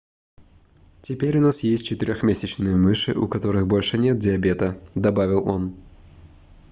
теперь у нас есть четырёхмесячные мыши у которых больше нет диабета - добавил он